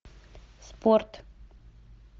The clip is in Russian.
спорт